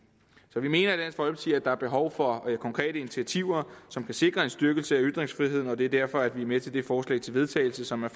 så vi mener at der er behov for konkrete initiativer som kan sikre en styrkelse af ytringsfriheden og det er derfor at vi er med til det forslag til vedtagelse som er